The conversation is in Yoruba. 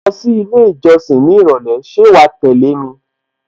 Mò ń lọ sí ilé ìjọsìn ní ìrọ̀lẹ́ ṣé wàá tẹ́lẹ̀ mi?